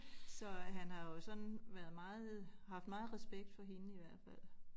Så øh han har jo sådan været meget haft meget respekt for hende i hvert fald